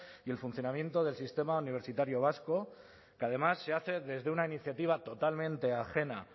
y el funcionamiento del sistema universitario vasco que además se hace desde una iniciativa totalmente ajena